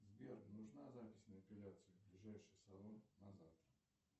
сбер нужна запись на эпиляцию ближайший салон на завтра